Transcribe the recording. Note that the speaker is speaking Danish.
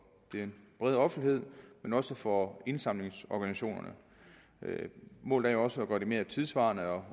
den brede offentlighed men også for indsamlingsorganisationerne målet er jo også at gøre det mere tidssvarende og